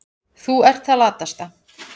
Þú ert það latasta.